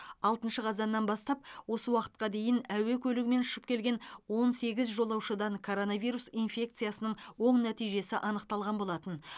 алтыншы қазаннан бастап осы уақытқа дейін әуе көлігімен ұшып келген он сегіз жолаушыдан коронавирус инфекциясының оң нәтижесі анықталған болатын